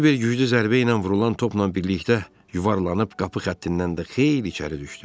Kiber güclü zərbə ilə vurulan topla birlikdə yuvarlanıb qapı xəttindən də xeyli içəri düşdü.